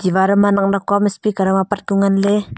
war ma nak nak kuam speaker am apat ku ngan ley.